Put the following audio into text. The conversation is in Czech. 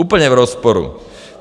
Úplně v rozporu.